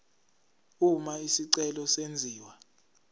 uma isicelo senziwa